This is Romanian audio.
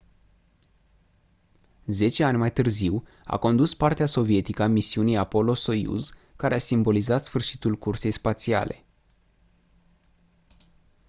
zece ani mai târziu a condus partea sovietică a misiunii apollo-soyuz care a simbolizat sfârșitul cursei spațiale